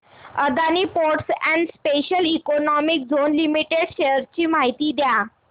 Adani ports and special economic zone limited shares ची माहिती द्या